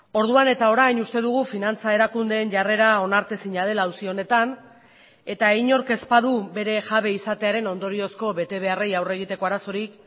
orduan eta orain uste dugu finantza erakundeen jarrera onartezina dela auzi honetan eta inork ez badu bere jabe izatearen ondoriozko betebeharrei aurre egiteko arazorik